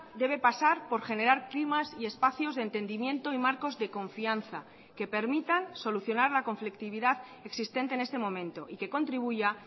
debe pasar por generar clímax y espacios de entendimiento y marcos de confianza que permitan solucionar la conflictividad existente en este momento y que contribuya